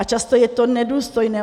A často je to nedůstojné.